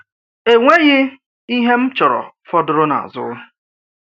Enweghị ihe m chọrọ fọdụrụ n’azụ.